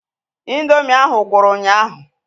Ị̀ndómị́ ahụ gwụrụ ụnyaahụ.